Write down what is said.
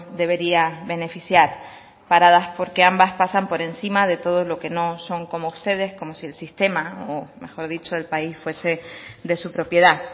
debería beneficiar paradas porque ambas pasan por encima de todos los que no son como ustedes como si el sistema o mejor dicho el país fuese de su propiedad